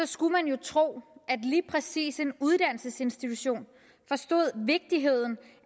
skulle man jo tro at lige præcis en uddannelsesinstitution forstod vigtigheden